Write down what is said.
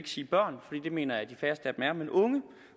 sige børn for det mener jeg at de færreste